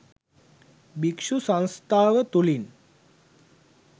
භික්‍ෂු සංස්ථාව තුළින්